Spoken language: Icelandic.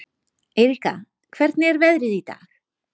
Eiríka, hvernig er veðrið í dag?